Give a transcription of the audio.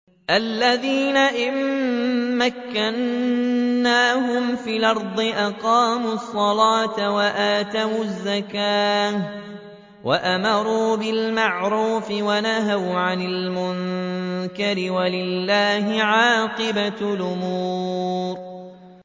الَّذِينَ إِن مَّكَّنَّاهُمْ فِي الْأَرْضِ أَقَامُوا الصَّلَاةَ وَآتَوُا الزَّكَاةَ وَأَمَرُوا بِالْمَعْرُوفِ وَنَهَوْا عَنِ الْمُنكَرِ ۗ وَلِلَّهِ عَاقِبَةُ الْأُمُورِ